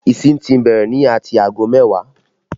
Ìsìn ti bẹ̀rẹ̀ ní ati aago mẹ́wàá